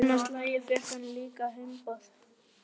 Annað slagið fékk hann líka heimboð.